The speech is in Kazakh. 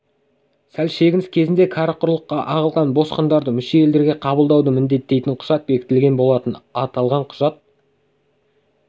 сәл шегініс кезінде кәрі құрлыққа ағылған босқындарды мүше елдерге қабылдауды міндеттейтін құжат бекітілген болатын аталған құжат